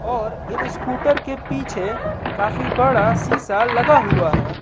और इन स्कूटर के पीछे काफी बड़ा सीसा लगा हुआ है।